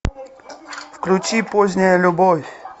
включи поздняя любовь